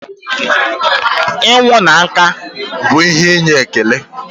ịnwụ na nka ihe inye ekele.